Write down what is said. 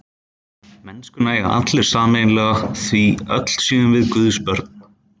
Mennskuna eigi allir sameiginlega því öll séum við Guðs börn.